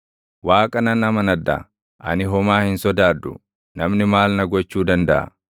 Waaqa nan amanadha; ani homaa hin sodaadhu. Namni maal na gochuu dandaʼa?